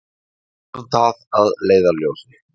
Höfum það að leiðarljósi.